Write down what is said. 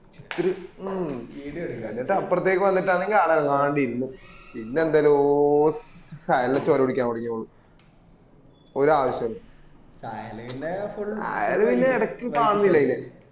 ഒരു ഉം എന്നിട്ട് അപ്രത്തെക്ക് വന്നിട്ട് ആണെങ്കിൽ ആട അനങ്ങാണ്ട് ഇരുന്നു പിന്നെ എന്തെല്ല തൊടങ്ങി ഓൾ ഒരവശ്യോം ഇല്ലാണ്ട് ആയാൽ പിന്നെ അയിനാ ഇടക്ക് കാണുന്നില്ല പിന്നെ